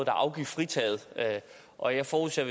er afgiftsfritaget og jeg forudser